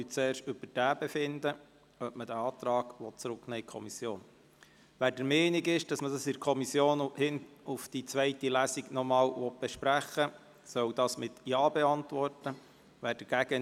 Wir befinden zuerst darüber ab, ob man diesen Antrag in die Kommission zurücknehmen will.